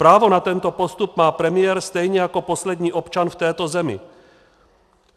Právo na tento postup má premiér stejně jako poslední občan v této zemi.